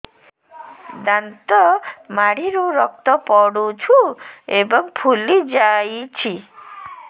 ଦାନ୍ତ ମାଢ଼ିରୁ ରକ୍ତ ପଡୁଛୁ ଏବଂ ଫୁଲି ଯାଇଛି